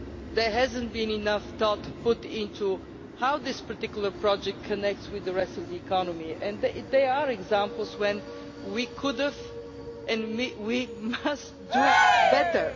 there has not been enough thought put into how this particular project connects with the rest of the economy, and there are examples where we could have and must do better.